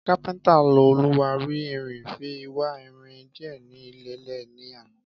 Kápéntà ló òlúwari irin fi wá irin dìé ni ilèlè ní àná